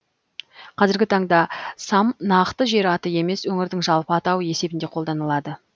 қазіргі таңда сам нақты жер аты емес өңірдің жалпы атауы есебінде қолданылады